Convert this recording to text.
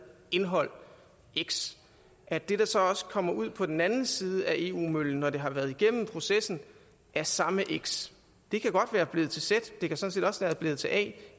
indhold x at det der så kommer ud på den anden side af eu møllen når det har været igennem processen er samme x det kan godt være blevet til z det kan sådan set også være blevet til a